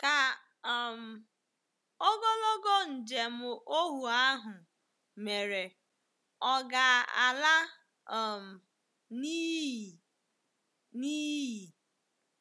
Ka um ogologo njem ohu ahụ mere ọ̀ ga-ala um n’iyi? n’iyi?